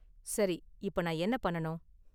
சரி, இப்ப நான் என்ன பண்ணனும்?